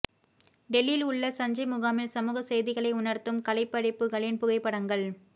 டெல்லியில் உள்ள சஞ்சய் முகாமில் சமூக செய்திகளை உணர்த்தும் கலைப்படைப்புகளின் புகைப்படங்கள்